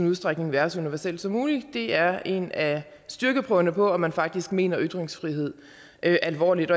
udstrækning være så universelle som muligt det er en af styrkeprøverne på om man faktisk mener ytringsfrihed alvorligt